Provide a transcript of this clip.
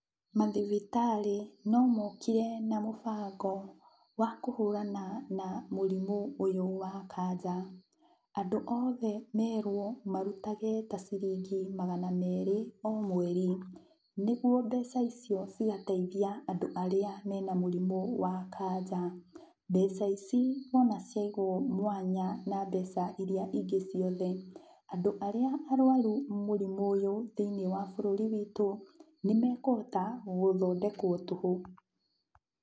Mathibitarĩ no mokire na mũbango wa kũhũrana na mũrĩmũ ũyũ wa kanja. Andũ othe mwerwo marutage ta ciringi magana merĩ o mweri, nĩguo mbeca icio cigateithia andũ arĩa mena mũrimũ wa kanja. Mbeca ici wona ciaigwo mwanya na mbeca iria ingĩ ciothe, andũ arĩa arwaru mũrimũ ũyũ thĩiniĩ wa bũrũri witũ, nĩmekũhota gũthondekwo tũhũ.